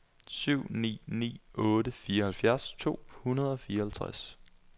syv ni ni otte fireoghalvfjerds to hundrede og fireoghalvtreds